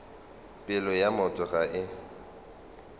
pelo ya motho ga e